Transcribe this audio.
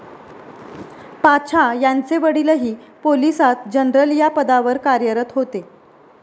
पाछा यांचे वडीलही पोलिसात जनरल या पदावर कार्यरत होते.